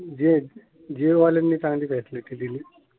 जिओ वाल्यानी चांगली फ्यासिलीटी दिली.